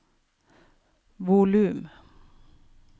volum